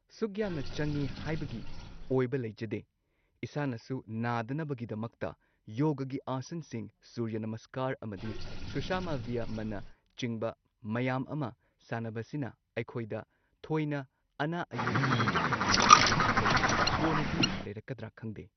ꯁꯨꯛ ꯌꯥꯝꯅ ꯆꯪꯏ ꯍꯥꯏꯕꯒꯤ ꯑꯣꯏꯕ ꯂꯩꯖꯗꯦ ꯏꯁꯥꯅꯁꯨ ꯅꯥꯗꯅꯕꯒꯤꯗꯃꯛꯇ ꯌꯣꯒꯒꯤ ꯑꯥꯁꯟꯁꯤꯡ ꯁꯨꯔꯌꯅꯃꯁꯀꯥꯔ ꯑꯃꯗꯤ ꯁꯨꯁꯃꯚꯤꯌꯥꯃꯅꯆꯤꯡꯕ ꯃꯌꯥꯝ ꯑꯃ ꯁꯥꯟꯅꯕꯁꯤꯅ ꯑꯩꯈꯣꯏꯗ ꯊꯣꯏꯅ ꯑꯅꯥ ꯑꯌꯦꯛ ꯍꯧꯖꯤꯛ ꯍꯧꯖꯤꯛꯃꯛꯀꯤꯗꯤ ꯂꯩꯇꯦ ꯀꯣꯟꯅꯗꯤ ꯂꯩꯔꯛꯀꯗ꯭ꯔꯥ ꯈꯪꯗꯦ꯫